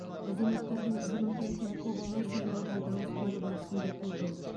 азаматтардың демократиялық құқығы сайлауда дауыс беру барысында көрінеді